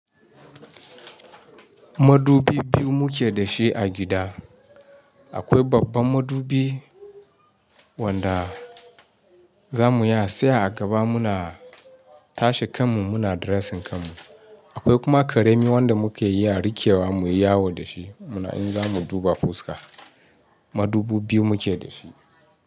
Madubi biyu muke da shi a gida. Akwai babban madubi wanda za mu iya tsaya a gaba muna tashe kan mu muna dressing kan mu. Akwai kuma karemi wanda muke iya rikewa muyi yawo da shi muna in za mu duba fuska. Madubi biyu muke da shi.